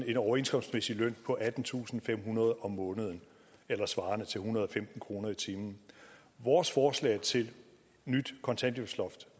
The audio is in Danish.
en overenskomstmæssig løn på attentusinde og femhundrede kroner om måneden eller svarende til en hundrede og femten kroner i timen vores forslag til nyt kontanthjælpsloft